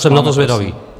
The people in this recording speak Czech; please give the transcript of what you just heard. Jsem na to zvědavý.